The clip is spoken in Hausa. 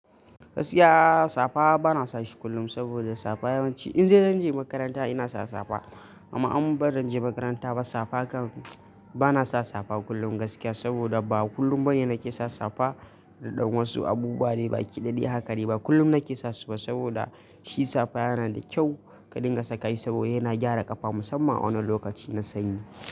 Gaskiya safa bana sashi kullum saboda safa yawanci in dai zan je makaranta ina sa safa. Amma in ba zanje makaranta ba safa kan bana sa safa kullum gaskiya saboda ba kullum bane nake sa safa. Don wasu abubuwa ne baki dai hakadai ba kullum nake sasuba saboda shi safa yana da kyau ka dinga saka shi saboda yana gyara ƙafa musamman a wannan lokaci na sanyi.